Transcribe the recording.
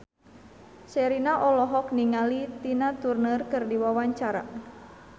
Sherina olohok ningali Tina Turner keur diwawancara